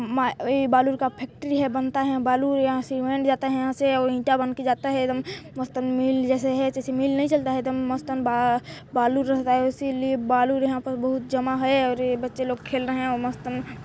ई बालू का फैक्ट्री है बनता है यहाँ बालू यहाँ सीमेंट जाता है यहाँ से अउ ईटा बन के जाता है एदम मस्त मिल जैसे है जैसे मिल नहीं चलता है मस्त बालू रहता है इसीलिए यहाँ पर बालू बहुत जमा है और ये बच्चे लोग खेल रहे हैं और मस्त --